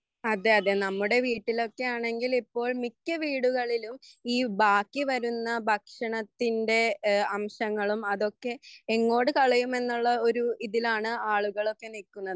അതെയതെ നമ്മുടെ വീട്ടിലൊക്കെയാണെങ്കിൽ ഇപ്പോൾ മിക്ക വീടുകളിലും ഈ ബാക്കിവരുന്ന ഭക്ഷണത്തിൻ്റെ അംശങ്ങളും അതൊക്കെ എങ്ങോട്ടു കളയുമെന്നുള്ള ഒരു ഇതിലാണ് ആളുകളൊക്കെ നിൽക്കുന്നത്